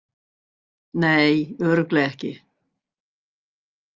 Nei, örugglega ekki.